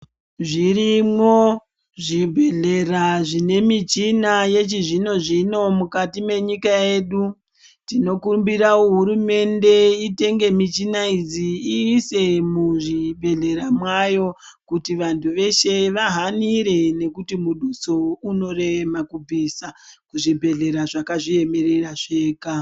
Zvirimwo zvibhehlera zvine michina yechizvinozvino mukati menyika yedu tinokumbira hurumende itenge michina idzi ise muzvibhelhera mwayo kuti vantu veshe vahanire nekuti muduso unorema kubvisa kuzvibhehlera zvakazviemerera zvega.